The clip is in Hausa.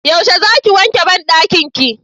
yaushe za ki wanke banɗakin ki?